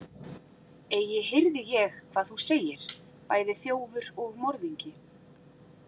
Eigi hirði ég hvað þú segir, bæði þjófur og morðingi.